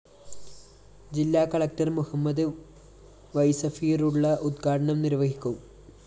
ജില്ലാ collector Muhammad Y Safirulla ഉദ്ഘാടനം നിര്‍വഹിക്കും